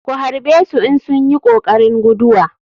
Ku harɓesu in sunyi kokarin guduwa.